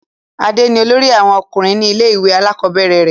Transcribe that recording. adé ni olórí àwọn ọkùnrin ní ilé ìwé àkọ́bẹ̀rẹ̀ rẹ̀